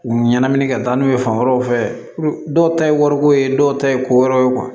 U ɲɛnmini ka taa n'u ye fan wɛrɛw fɛ dɔw ta ye wariko ye dɔw ta ye ko wɛrɛ ye